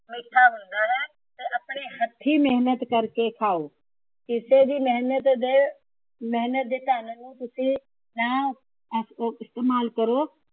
ਮਿੱਠਾ ਹੀ ਹੁੰਦਾ ਹੈ। ਤੇ ਆਪਣੇ ਹੱਥੀ ਮੇਹਨਤ ਕਰਕੇ ਖਾਉ। ਕਿਸੇ ਦੀ ਮੇਹਨਤ ਦੇ ਮੇਹਨਤ ਦੇ ਧੰਨ ਨੂੰ ਤੁਸੀਂ ਨਾ ਇਸ ਇਸਤਮਾਲ ਕਰੋ।